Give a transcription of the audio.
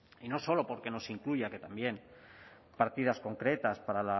y no solo porque no se incluyan que también partidas concretas para